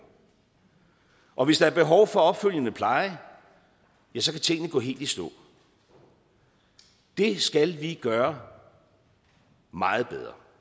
og hvis der er behov for opfølgende pleje ja så kan tingene gå helt i stå det skal vi gøre meget bedre